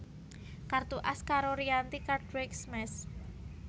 Kartu As karo Rianti Cartwright Smash